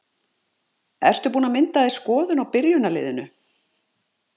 Ertu búinn að mynda þér skoðun á byrjunarliðinu?